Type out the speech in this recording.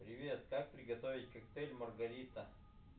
привет как приготовить коктейль маргарита